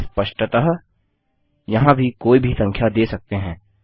स्पष्टतः यहाँ भी कोई भी संख्या दे सकते हैं